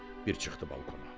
Bir çıxdı balkona.